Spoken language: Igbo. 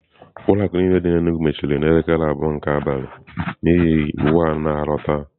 Ụlọ akụ niile dị n'Enugwu mechiri n'elekere abụọ nke abalị n'ihi iwu a na-alọta.